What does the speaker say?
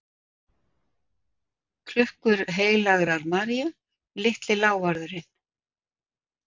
Klukkur heilagrar Maríu, Litli lávarðurinn